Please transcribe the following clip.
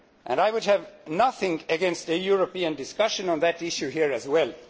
I would have nothing against a European discussion on that issue here as well.